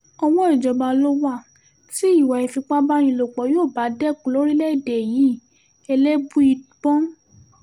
ọwọ́ ìjọba ló wà tí ìwà ìfipábánilòpọ̀ yóò bá dẹkùn lórílẹ̀‐èdè yìí elébùíbọn